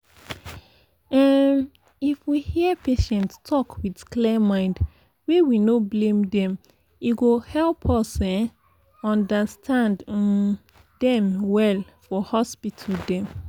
um if we hear patient talk with clear mind wey we for no blame dem e go help us um understand um dem well for hospital dem.